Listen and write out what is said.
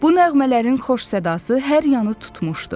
Bu nəğmələrin xoş sədası hər yanı tutmuşdu.